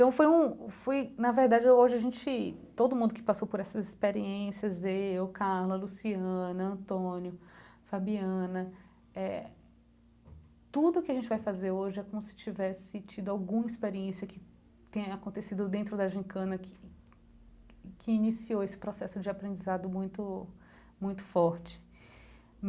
Então foi um foi, na verdade, hoje a gente, todo mundo que passou por essas experiências, eu, Carla, Luciana, Antônio, Fabiana, eh tudo o que a gente vai fazer hoje é como se tivesse tido alguma experiência que tenha acontecido dentro da gincana, que que iniciou esse processo de aprendizado muito muito forte.